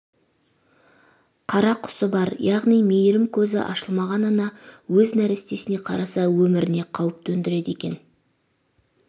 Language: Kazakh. қарақұсы бар яғни мейірім көзі ашылмаған ана өз нәрестесіне қараса өміріне қауіп төндіреді екен